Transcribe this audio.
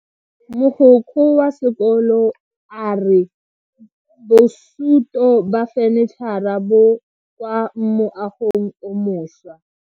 Mogokgo wa sekolo a re bosuto ba fanitšhara bo kwa moagong o mošwa.